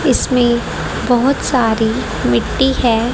इसमें बहोत सारी मिट्टी है।